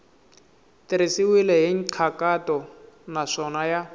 tirhisiwile hi nkhaqato naswona ya